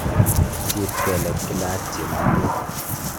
siit kelek kila ak chemundut